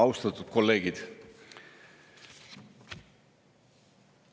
Austatud kolleegid!